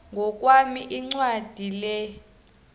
ngokwami incwadi le